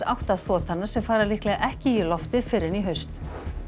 átta þotanna sem fara líklega ekki í loftið fyrr en í haust